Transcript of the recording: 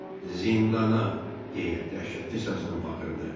Zindana deyə dəhşətli səslə bağırdı.